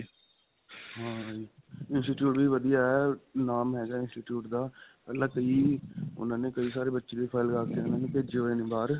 institute ਵੀ ਵਧੀਆ ਹੈ. ਨਾਮ ਹੈਗਾ institute ਦਾ ਉਨ੍ਹਾਂ ਨੇ ਕਈ ਸਾਰੇ ਬੱਚਿਆਂ ਦੀ file ਲੱਗਾਕੇ ਉਨ੍ਹਾਂ ਨੇ ਭੇਜੇ ਹੋਏ ਨੇ ਬਾਹਰ .